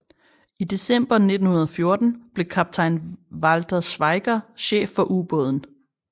I december 1914 blev kaptajn Walther Schwieger chef for ubåden